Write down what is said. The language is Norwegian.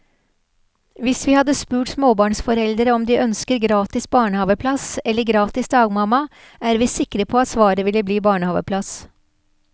Hvis vi hadde spurt småbarnsforeldre om de ønsker gratis barnehaveplass eller gratis dagmamma, er vi sikre på at svaret ville bli barnehaveplass.